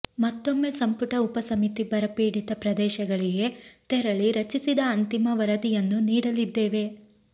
ಮತ್ತೊಮ್ಮೆ ಸಂಪುಟ ಉಪಸಮಿತಿ ಬರಪೀಡಿತ ಪ್ರದೇಶಗಳಿಗೆ ತೆರಳಿ ರಚಿಸಿದ ಅಂತಿಮ ವರದಿಯನ್ನು ನೀಡಲಿದ್ದೇವೆ